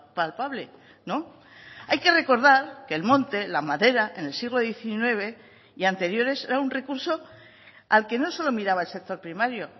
palpable no hay que recordar que el monte la madera en el siglo diecinueve y anteriores era un recurso al que no solo miraba el sector primario